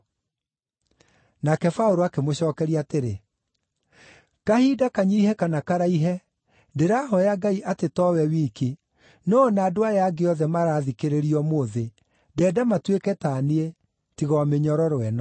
Nake Paũlũ akĩmũcookeria atĩrĩ, “kahinda kanyiihe kana karaihe, ndĩrahooya Ngai atĩ to wee wiki, no o na andũ aya angĩ othe maraathikĩrĩria ũmũthĩ, ndenda matuĩke ta niĩ, tiga o mĩnyororo ĩno.”